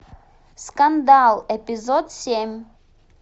скандал эпизод семь